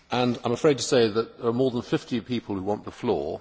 I am afraid to say that there are more than 50 people who want the floor.